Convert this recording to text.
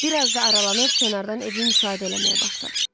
Bir az da aralanıb kənardan evi müşahidə eləməyə başladı.